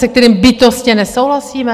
Se kterým bytostně nesouhlasíme?